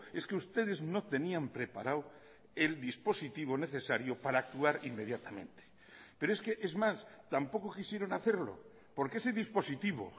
es que ustedes no tenían preparado el dispositivo necesario para actuar inmediatamente pero es que es más tampoco quisieron hacerlo porque ese dispositivo